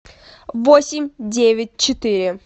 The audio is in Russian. восемь девять четыре